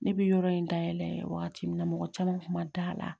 Ne bɛ yɔrɔ in dayɛlɛ wagati min na mɔgɔ caman kun ma da la